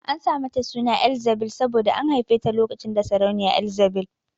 An sa mata suna Elzzabil saboda an haife ta lokacin da sarauniya Ezzabil